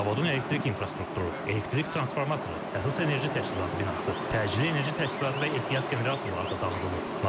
Zavodun elektrik infrastrukturu, elektrik transformatoru, əsas enerji təchizatı binası, təcili enerji təchizatı və ehtiyat generatorları da dağıdılıb.